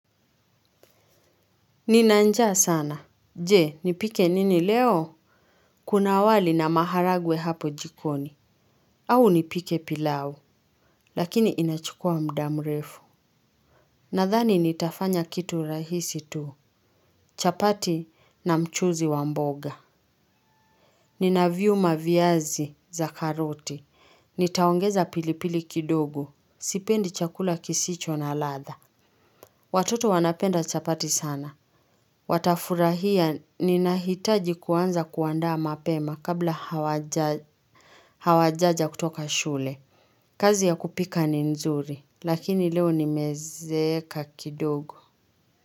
Nina njaa sana. Je, nipike nini leo? Kuna wali na maharagwe hapo jikoni. Au nipike pilau. Lakini inachukua mda mrefu. Nadhani nitafanya kitu rahisi tu. Chapati na mchuzi wa mboga. Nina viuma viazi za karoti. Nitaongeza pilipili kidogo. Sipendi chakula kisicho na latha. Watoto wanapenda chapati sana. Watafurahia ninahitaji kuanza kuandaa mapema kabla hawajaja kutoka shule. Kazi ya kupika ni nzuri lakini leo nimezeeka kidogo.